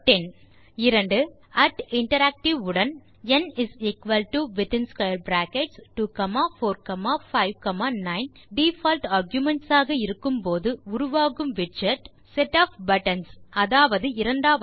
Tinteract உடன் ந் 2 4 5 9 default arguments ஆக இருக்கும் போது உருவாகும் விட்செட் செட் ஒஃப் பட்டன்ஸ் அதாவது இரண்டாவது விடை